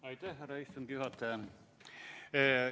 Aitäh, härra istungi juhataja!